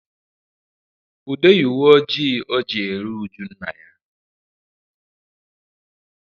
Ude yi uwe ojii o ji eri ụjụ nna ya